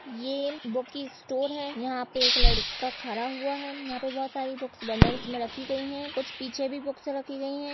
ये बुक की स्टोर हैं यहा पे एक लड़का खरा हुआ हैं यहा पे बहोत सारी बुक्स बंडल्स मे रखी गई हैं कुछ पीछे भी बुक्स रखी गई हैं।